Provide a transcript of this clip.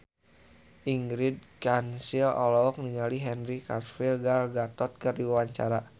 Ingrid Kansil olohok ningali Henry Cavill Gal Gadot keur diwawancara